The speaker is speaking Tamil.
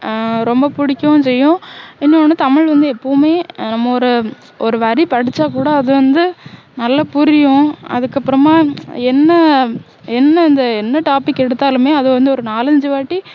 ஆஹ் ரொம்ப புடிக்கவும் செய்யும் இன்னொண்ணு தமிழ் வந்து எப்போவுமே நம்ம ஒரு ஒரு வரி படிச்சா கூட அது வந்து நல்லா புரியும் அதுக்கப்பறமா என்ன என்னது என்ன topic எடுத்தாலுமே அதுவந்து ஒரு நாலு அஞ்சு வாட்டி